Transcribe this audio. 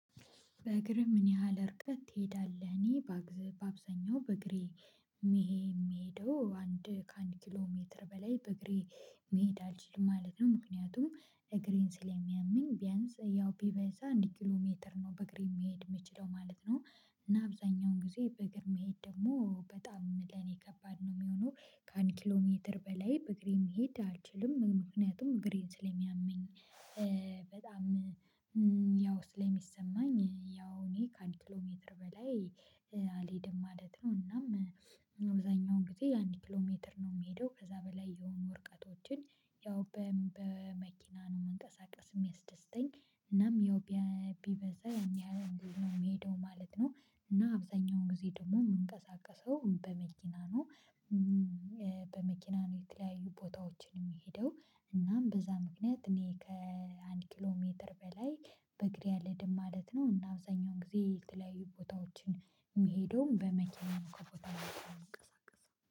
በእግርህ ምን ያህል እርቀት ትሄዳለህ? እኔ በአብዛኛው በእግሬ የምሄደው አንድ ከአንድ ኪሎ ሜትር በላይ በእግሬ መሄድ አልችልም ማለት ነው። ምክንያቱም እግሬን ስለሚያመኝ ቢያንስ ያው ቢበዛ አንድ ኪሎ ሜትር ነው በእግር መሄድ የምችለው ማለት ነው። እና አብዛኛውን ጊዜ በእግር መሄድ ደግሞ በጣም ለኔ ከባድ ነው የሚሆነው። ከአንድ ኪሎ ሜትር በላይ በእግሬ መሄድ አልችልም። ምክንያቱም እግሬን ስለሚያመኝ። በጣም ያው ስለሚሰማኝ ያው እኔ ከአንድ ኪሎ ሜትር በላይ አልሄድም ማለት ነው። እናም አብዛኛውን ጊዜ አንድ ኪሎ ሜትር ነው የምሄደው። ከዛ በላይ የሆኑ እርቀቶችን ያው በመኪና ነው መንቀሳቀስ የሚያስደስተኝ። እናም ያው ቢበዛ ያን ያህል ነው የሚሄደው ማለት ነው። እና አብዛኛውን ጊዜ ደግሞ የምንቀሳቀሰው በመኪና ነው። በመኪና ነው የተለያዩ ቦታዎችን የሚሄደው። እናም በዛ ምክንያት እኔ ከአንድ ኪሎ ሜትር በላይ በእግሬ አልሄድም ማለት ነው። እና አብዛኛውን ጊዜ የተለያዩ ቦታዎችን የሚሄደውን በመኪና ከቦታ ቦታ ምንቀሳስ።